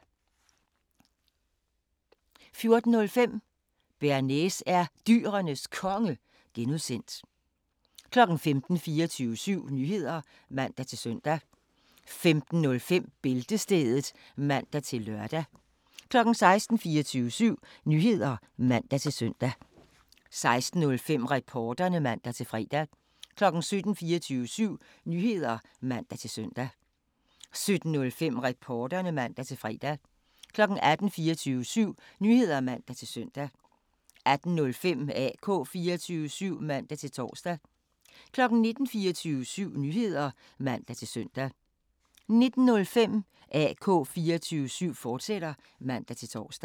15:00: 24syv Nyheder (man-søn) 15:05: Bæltestedet (man-lør) 16:00: 24syv Nyheder (man-søn) 16:05: Reporterne (man-fre) 17:00: 24syv Nyheder (man-søn) 17:05: Reporterne (man-fre) 18:00: 24syv Nyheder (man-søn) 18:05: AK 24syv (man-tor) 19:00: 24syv Nyheder (man-søn) 19:05: AK 24syv, fortsat (man-tor)